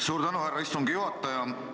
Suur tänu, härra istungi juhataja!